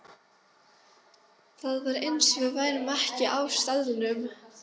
Það var eins og við værum ekki á staðnum.